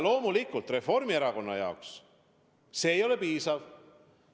Loomulikult Reformierakonna jaoks see ei ole piisav.